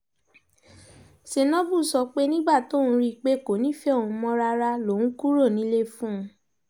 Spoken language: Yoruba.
senabu sọ pé nígbà tóun rí i pé kò nífẹ̀ẹ́ òun mọ́ rárá lòun kúrò nílé fún un